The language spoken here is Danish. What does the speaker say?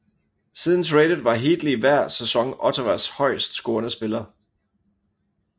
Siden tradet var Heatley hver sæson Ottawas højest scorende spiller